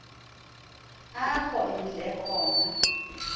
apho imdle khona